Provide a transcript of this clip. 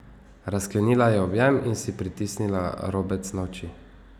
Razklenila je objem in si pritisnila robec na oči.